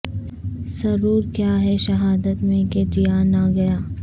سرور کیا ہے شہادت میں کہ جیا نہ گیا